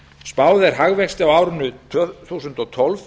spáð er hagvexti á árinu tvö þúsund og tólf